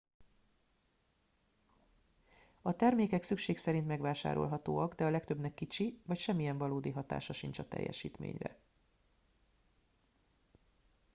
a termékek szükség szerint megvásárolhatóak de a legtöbbnek kicsi vagy semmiyen valódi hatása sincs a teljesítményre